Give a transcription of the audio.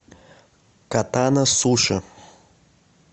катана суши